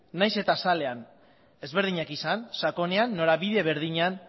nahiz eta azalean ezberdinak izan sakonean norabide berdinean